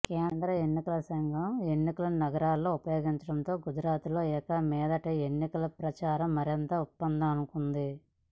కేంద్ర ఎన్నికల సంఘం ఎన్నికల నగారా మోగించటంతో గుజరాత్లో ఇక మీదట ఎన్నికల ప్రచారం మరింత ఊపందుకోనుంది